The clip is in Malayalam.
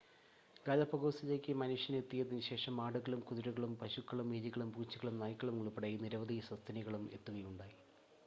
ഗാലപാഗോസിലേക്ക് മനുഷ്യൻ എത്തിയതിനുശേഷം ആടുകളും കുതിരകളും പശുക്കളും എലിളും പൂച്ചകളും നായ്ക്കളും ഉൾപ്പെടെ നിരവധി സസ്തനികളും എത്തുകയുണ്ടായി